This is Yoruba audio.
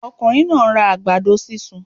Okùnrin náà nra àgbàdo sísun